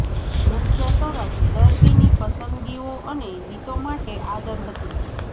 મુખ્ય શરત દર્દીની પસંદગીઓ અને હિતો માટે આદર હતી